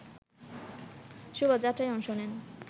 শোভাযাত্রায় অংশ নেন